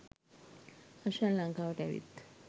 හෂාන් ලංකාවට ඇවිත්